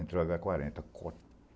Entrou a agá quarenta .